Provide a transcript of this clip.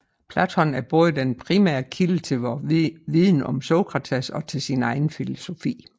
Platon er både den primære kilde til vor viden om Sokrates og til sin egen filosofi